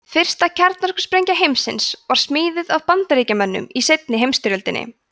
fyrsta kjarnorkusprengja heimsins var smíðuð af bandaríkjamönnum í seinni heimsstyrjöldinni